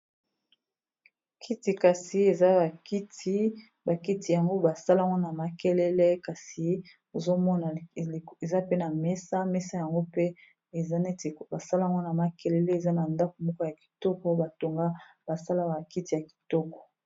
Kiti kasi eza ba kiti ba kiti yango basalango na makelele kasi ozomona eza pe na mesa mesa yango pe eza neti ba salango na makelele eza na ndako moko ya kitoko batonga basala ba kiti ya kitoko.